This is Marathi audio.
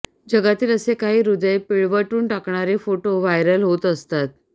जगातील असे काही हृदय पिळवटून टाकणारे फोटो व्हायरल होत असतात